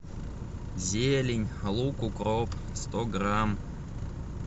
зелень лук укроп сто грамм